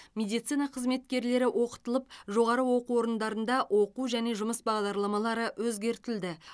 медицина қызметкерлері оқытылып жоғары оқу орындарында оқу және жұмыс бағдарламалары өзгертілді